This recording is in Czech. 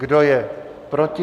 Kdo je proti?